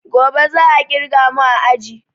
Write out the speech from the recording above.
Gobe za a ƙirga mu a aji